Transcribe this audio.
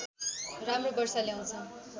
राम्रो वर्षा ल्याउँछ